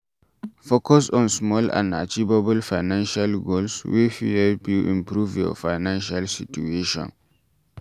Focus on small and achievable financial goals wey fit help you improve your financial situation